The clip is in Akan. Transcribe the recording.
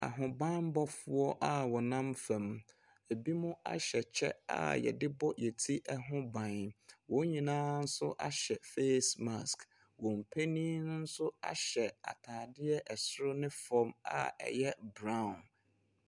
Ahobammɔfoɔ a wɔnam fam. Binom ahyɛ kyɛ a wɔde bɔ wɔn ti ho ban. Wɔn nyinaa nso ahyɛ face mask. Wɔn panin no nso ahyɛ atadeɛ soro ne fam a ɛyɛ brown.